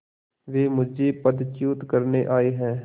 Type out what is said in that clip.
वे मुझे पदच्युत करने आये हैं